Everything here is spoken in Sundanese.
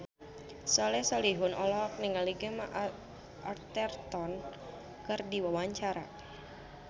Soleh Solihun olohok ningali Gemma Arterton keur diwawancara